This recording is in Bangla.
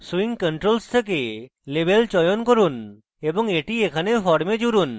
swing controls থেকে label চয়ন করুন এবং এটি এখানে form জুড়ুন